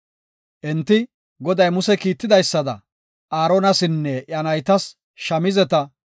Enti, Goday Muse kiitidaysada, Aaronasinne iya naytas, shamizeta,